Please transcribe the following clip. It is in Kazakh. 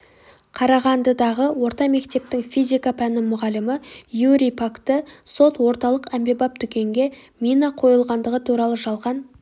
қарағандыдағы орта мектептің физика пәні мұғалімі юрий пакті сот орталық әмбебап дүкенге мина қойылғандығы турады жалған